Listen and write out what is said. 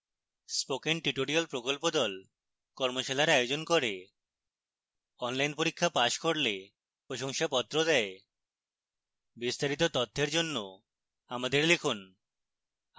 spoken tutorial প্রকল্প the কর্মশালার আয়োজন করে অনলাইন পরীক্ষা পাস করলে প্রশংসাপত্র দেয় বিস্তারিত তথ্যের জন্য আমাদের লিখুন